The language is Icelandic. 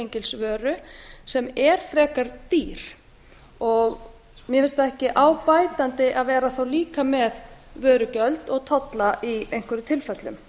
þessa svokölluðu staðgengilsvöru sem er frekar dýr mér finnst það ekki á bætandi að vera líka með vörugjöld og tolla í einhverjum tilfellum